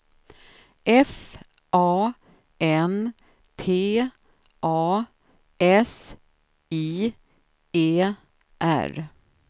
F A N T A S I E R